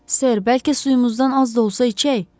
Ser, bəlkə suyumuzdan az da olsa içək?